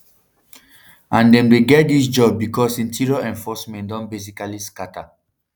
and dem dey get dis jobs becos interior enforcement don basically scata